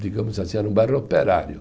digamos assim, era um bairro operário.